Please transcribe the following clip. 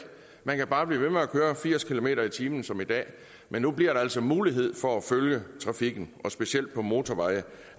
man kan bare blive ved med at køre firs kilometer per time som i dag men nu bliver der altså mulighed for at følge trafikken og specielt på motorveje